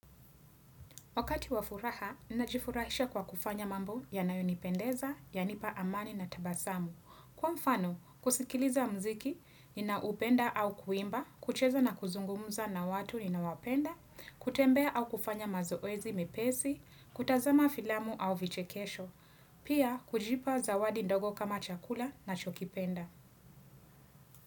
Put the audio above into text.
Wakati wa furaha, ninajifurahisha kwa kufanya mambo yanayonipendeza, yanipa amani na tabasamu. Kwa mfano, kusikiliza mziki, ninaupenda au kuimba, kucheza na kuzungumuza na watu ninawapenda, kutembea au kufanya mazoezi mepesi, kutazama filamu au vichekesho. Pia, kujipa zawadi ndogo kama chakula na chokipenda.